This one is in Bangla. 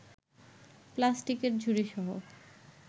প্লাস্টিকের ঝুড়িসহ